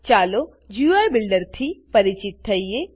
ચાલો ગુઈ બિલ્ડરથી પરિચિત થઈએ